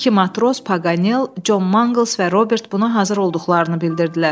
İki matros, Paganel, Con Mangls və Robert buna hazır olduqlarını bildirdilər.